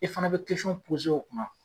I fana be o kunna.